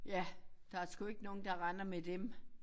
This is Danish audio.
Ja der sgu ikke nogen der render med dem